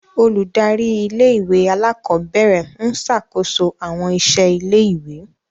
Óludari ìlé-ìwé àlàkọbẹrẹ ń ṣakoso awọn iṣẹ ìlé-ìwé.